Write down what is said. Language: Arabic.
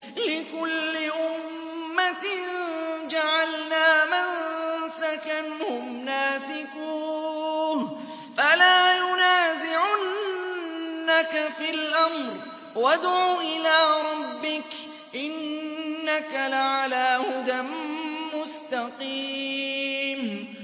لِّكُلِّ أُمَّةٍ جَعَلْنَا مَنسَكًا هُمْ نَاسِكُوهُ ۖ فَلَا يُنَازِعُنَّكَ فِي الْأَمْرِ ۚ وَادْعُ إِلَىٰ رَبِّكَ ۖ إِنَّكَ لَعَلَىٰ هُدًى مُّسْتَقِيمٍ